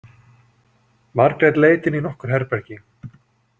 Margrét leit inn í nokkur herbergi.